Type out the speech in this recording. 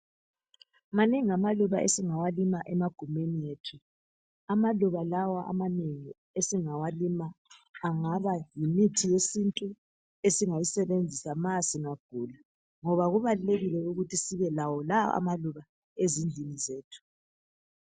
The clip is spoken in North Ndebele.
Manengi amaluba esingawalima emagumeni ethu. Amaluba lawa ananengi esingawalima, angaba ngumuthi wesintu. Esingayisebenzisa, singagula, ngoba kubalukekile ukuthi sibelawo lawa amaluba ezindlini zethu.